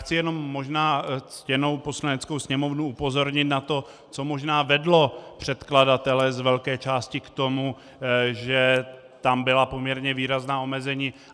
Chci jenom možná ctěnou Poslaneckou sněmovnu upozornit na to, co možná vedlo předkladatele z velké části k tomu, že tam byla poměrně výrazná omezení.